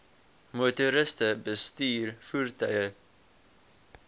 motoriste bestuur voertuie